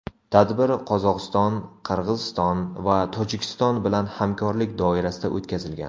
Tadbir Qozog‘iston, Qirg‘iziston va Tojikiston bilan hamkorlik doirasida o‘tkazilgan.